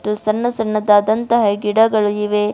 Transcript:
. ಸಣ್ಣ ಸಣ್ಣದಾದಂತಹ ಗಿಡಗಳು ಇವೆ